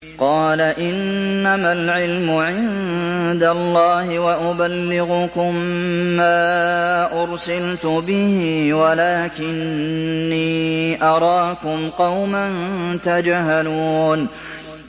قَالَ إِنَّمَا الْعِلْمُ عِندَ اللَّهِ وَأُبَلِّغُكُم مَّا أُرْسِلْتُ بِهِ وَلَٰكِنِّي أَرَاكُمْ قَوْمًا تَجْهَلُونَ